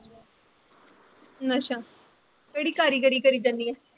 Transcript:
ਨਸ਼ਾ ਕਿਹੜੀ ਕਰੇਗੀਰੀ ਕਰੀ ਜਾਨੀ ਐ